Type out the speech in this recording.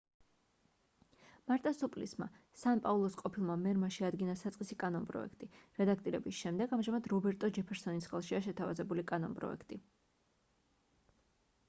მარტა სუპლისმა სან პაულოს ყოფილმა მერმა შეადგინა საწყისი კანონპროექტი რედაქტირების შემდეგ ამჟამად რობერტო ჯეფერსონის ხელშია შეთავაზებული კანონპროექტი